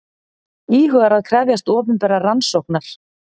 Íhugar að krefjast opinberrar rannsóknar